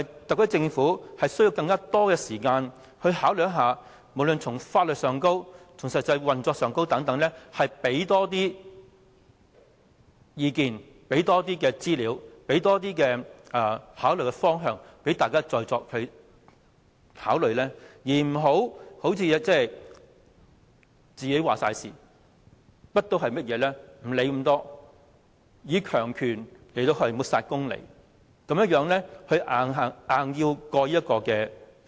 特區政府是否需要更多時間考慮，無論從法律觀點或實際運作上，提供更多意見、資料和方向讓大家再作考慮，而不要全權作主，甚麼都不理會，以強權抹煞公理，強行通過《條例草案》？